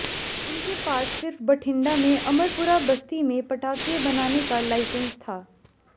उनके पास सिर्फ बठिंडा में अमरपुरा बस्ती में पटाखे बनाने का लाइसेंस था